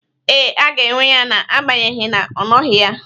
Ee, a ga-enwe ya na-agbanyegi na ọ nọghị ya.